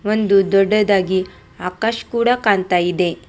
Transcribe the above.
ಒಂದು ದೊಡ್ಡದಾಗಿ ಆಕಾಶ್ ಕೂಡ ಕಾಣ್ತಾ ಇದೆ.